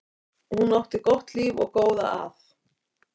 Hún átti gott líf og góða að.